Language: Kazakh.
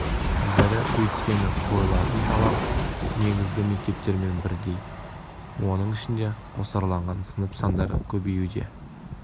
бірі өйткені қойылатын талап негізгі мектептермен бірдей оның ішінде қосарланған сынып сандары көбеюде